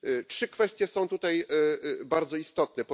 Trzy kwestie są tutaj bardzo istotne.